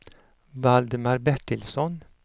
Valdemar Bertilsson